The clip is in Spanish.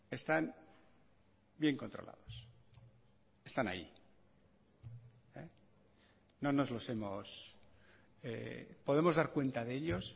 están bien controlados están ahí no nos los hemos podemos dar cuenta de ellos